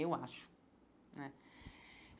Eu acho né.